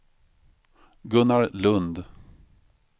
Gunnar Lundh